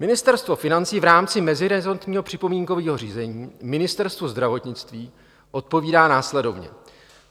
Ministerstvo financí v rámci meziresortního připomínkového řízení Ministerstvu zdravotnictví odpovídá následovně.